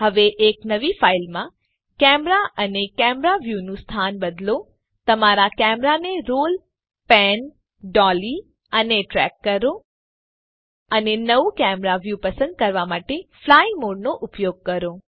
હવે એક નવી ફાઇલમાં કેમેરા અમે કેમેરા વ્યુનું સ્થાન બદલો તમારા કેમેરાને રોલ પેન ડોલી અને ટ્રેક કરો અને નવું કેમેરા વ્યુ પસંદ કરવા માટે ફ્લાય મોડનો ઉપયોગ કરો